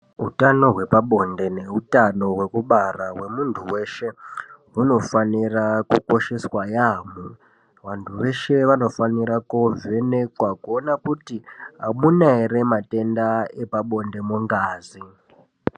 Utano hwepabonde nehutano hwekubara hwemunhu weshe hunofanira kukosheswa yaamho. Vanhu veshe vanofanire koovhenekwa kuoneka kuti hamuna ere matenda epabonde mungazi.